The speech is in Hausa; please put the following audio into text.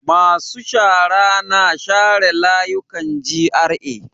Masu shara na share layukan GRA.